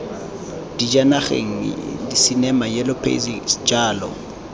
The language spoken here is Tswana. dijanageng disinema yellow pages jalo